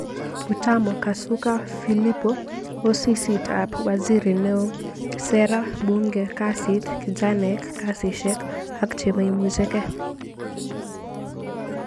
Butamo KasukaPhillipo-Osisitab Waziri Neoo, Sera, Bunge, Kasit, Kijanaek, Kasishek ak chemaimuchekei